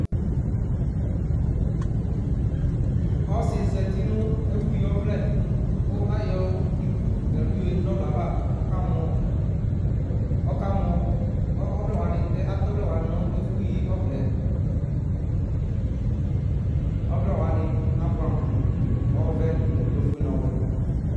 Ɔsi zɛtinʋ ɛfuyi ɔvlɛ ku ayɔ iɖu nu ɛlu yaɖuŋʋ ɔvlɛ ava Ɔkamɔ ! Ɔkamɔ ! Atɛ ɔvlɛ waŋi ŋu ɛfuyi ɔvlɛ Ɔvlɛ waŋi abʋɛ amu: ɔvɛ, ɔƒʋe ŋu ɔwɛ